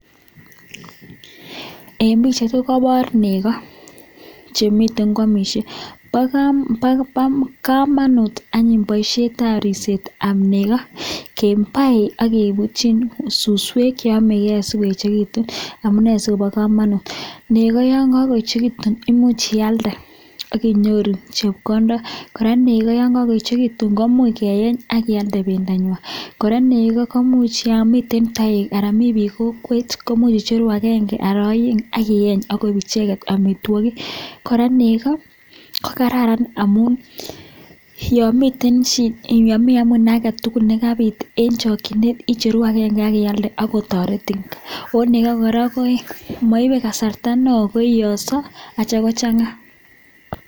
En pichait ko kobor nekoo chemiten kwomishe, bokomonut anyun boishetab ripsetab nekoo kibai ak kebutyin suswek cheomeke asikoechekitun, amunee sikobokomonut nekoo yoon ko koechekitun imuch ialde ak inyoru chepkondok, kora nekoo yoon ko koechekitun komuch keyeny akialde bendanywan, kora nekoo kkomuch yoon miten toek anan mii biik kokwet imuch icheru aenge anan oeng ak iyeny kok icheket amitwokik, kora nekoo ko kararan amun yomiten yomii amune aketukul nekabit en chikyinet icheru akenge ak ialde ak kotoretin, oo nekoo kora ko moibe kasarta neoo koiyoso akitio kochanga.